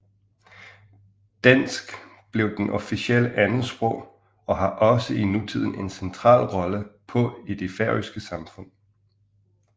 Dansk blev det officielle andetsprog og har også i nutiden en central rolle på i det færøske samfund